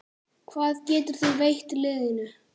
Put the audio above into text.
Hvað getur þú veitt liðinu?